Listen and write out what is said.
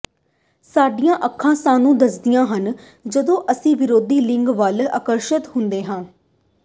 ਸਾਡੀਆਂ ਅੱਖਾਂ ਸਾਨੂੰ ਦੱਸਦੀਆਂ ਹਨ ਜਦੋਂ ਅਸੀਂ ਵਿਰੋਧੀ ਲਿੰਗ ਵੱਲ ਆਕਰਸ਼ਤ ਹੁੰਦੇ ਹਾਂ